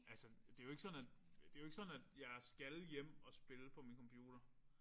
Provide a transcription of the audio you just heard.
Altså det jo ikke sådan det jo ikke sådan at jeg skal hjem og spille på min computer